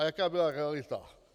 A jaká byla realita?